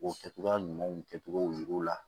O kɛcogoya ɲumanw kɛcogo yir'u la